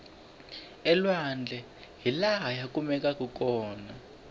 elwandle hilaha ya kumekaku kona